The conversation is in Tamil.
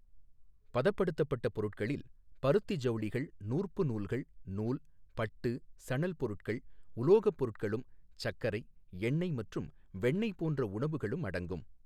பதப்படுத்தப்பட்ட பொருட்களில் பருத்தி ஜவுளிகள், நூற்பு நூல்கள், நூல், பட்டு, சணல் பொருட்கள், உலோகப் பொருட்களும், சர்க்கரை, எண்ணெய் மற்றும் வெண்ணெய் போன்ற உணவுகளும் அடங்கும்.